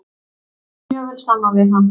Ég náði mjög vel saman við hann.